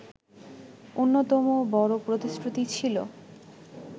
অন্যতম বড় প্রতিশ্রুতি ছিল